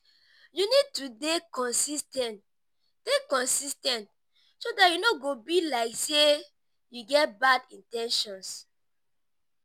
you need to dey consis ten t dey consis ten t so dat e no go be like sey you get bad in ten tions